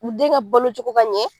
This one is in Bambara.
U den ka balo cogo ka ɲɛ